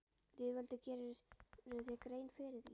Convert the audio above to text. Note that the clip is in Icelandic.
Lýðveldið, gerirðu þér grein fyrir því?